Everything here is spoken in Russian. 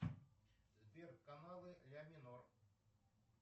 сбер каналы ля минор